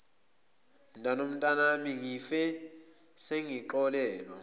mntanomntanami ngife sengixolelwe